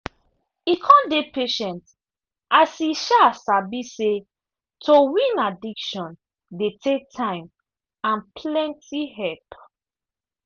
e con dey patient as e um sabi say to win addiction dey take time and plenty help.